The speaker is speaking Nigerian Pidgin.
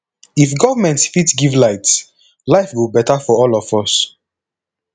if government fit give light life go better for all of us